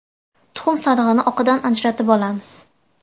Tuxum sarig‘ini oqidan ajratib olamiz.